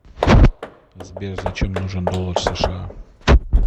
сбер зачем нужен доллар сша